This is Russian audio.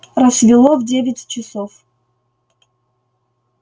рассвело в девять часов